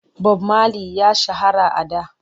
Bob Mali ya shahara a da.